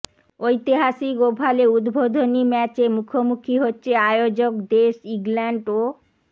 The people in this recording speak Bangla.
ঐতিহাসিক ওভালে উদ্বোধনী ম্য়াচে মুখোমুখি হচ্ছে আয়োজক দেশ ইংল্যান্ড ও